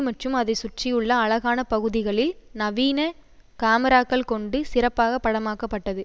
மற்றும் அதை சுற்றியுள்ள அழகான பகுதிகளில் நவீன காமிராக்கள் கொண்டு சிறப்பாக படமாக்க பட்டது